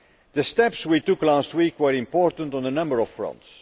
The steps we took last week were important on a number of fronts.